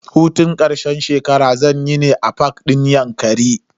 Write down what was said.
Hutun karshen shekara zanyi ne a fak din yankari.